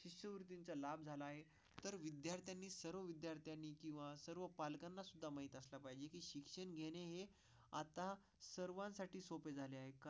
चा लाभ झाला आहे तर विद्यार्थ्यांची सर्व विद्यार्थ्यांनी किंवा सर्व पालकांनासुद्धा माहीत असलं पाहिजे की शिक्षण घेणे हे आता सर्वांसाठी सोपे झाले आहे का?